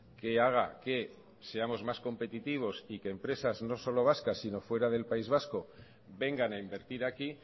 que haga que seamos más competitivos y que empresas no solo vascas sino fuera del país vasco vengan a invertir aquí